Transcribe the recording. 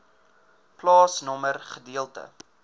plaasnommer gedeelte